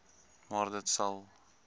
maar dit sal